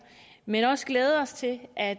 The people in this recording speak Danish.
men også glæde os til at